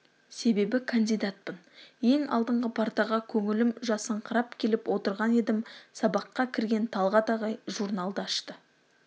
себебі кандидатпын ең алдыңғы партаға көңілім жасыңқырап келіп отырған едім сабаққа кірген талғат ағай журналды ашты